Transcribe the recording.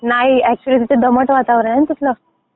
नाही ऍक्च्युली तिथे दमट वातावरण आहे ना तिथलं.